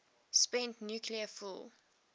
spent nuclear fuel